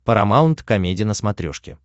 парамаунт комеди на смотрешке